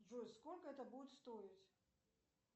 джой сколько это будет стоить